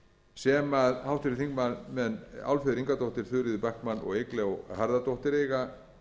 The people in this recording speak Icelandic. sem háttvirtir þingmenn álfheiður ingadóttir þuríður backman og eygló harðardóttir eiga